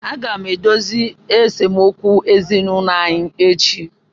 Aga m edozi esemokwu ezinụlọ anyị echi.